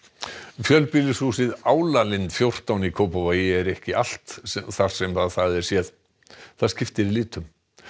fjölbýlishúsið fjórtán í Kópavogi er ekki allt þar sem það er séð það skiptir litum